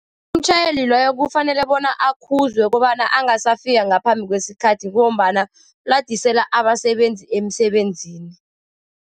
Umtjhayeli loyo kufanele bona akhuzwe kobana angasafika ngaphambi kwesikhathi, ngombana uladisela abasebenzi emisebenzini.